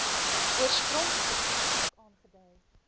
oorspronklike kontrak aangedui